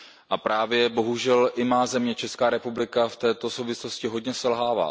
A právě bohužel i má země, Česká republika, v této souvislosti hodně selhává.